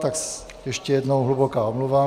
Tak ještě jednou hluboká omluva.